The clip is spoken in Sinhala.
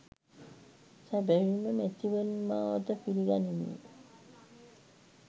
සැබැවින්ම මැතිවරණ මාවත පිළිගනිමින්